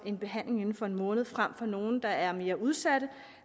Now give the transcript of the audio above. en behandling inden for en måned frem for nogle der er mere udsatte